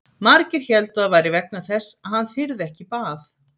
Margir héldu að það væri vegna þess að hann þyrði ekki í bað.